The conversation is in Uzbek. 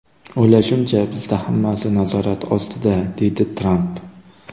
O‘ylashimcha, bizda hammasi nazorat ostida”, deydi Tramp.